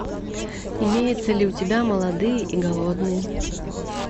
имеется ли у тебя молодые и голодные